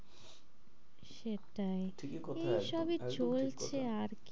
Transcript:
সেটাই, ঠিকই কথা একদম এই সবই চলছে আর কি?